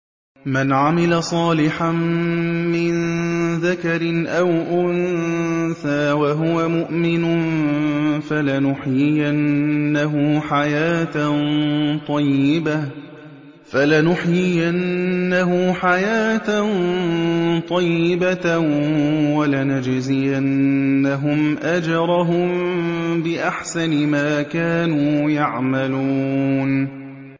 مَنْ عَمِلَ صَالِحًا مِّن ذَكَرٍ أَوْ أُنثَىٰ وَهُوَ مُؤْمِنٌ فَلَنُحْيِيَنَّهُ حَيَاةً طَيِّبَةً ۖ وَلَنَجْزِيَنَّهُمْ أَجْرَهُم بِأَحْسَنِ مَا كَانُوا يَعْمَلُونَ